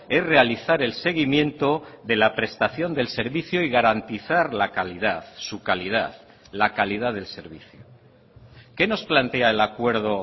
es realizar el seguimiento de la prestación del servicio y garantizar la calidad su calidad la calidad del servicio qué nos plantea el acuerdo